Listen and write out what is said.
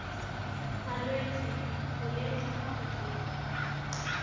malwetse boleng jwa kwa godimo